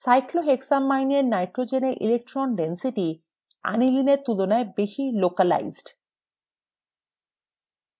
cyclohexylamine এর nitrogen এ electron density aniline এর তুলনায় বেশি localized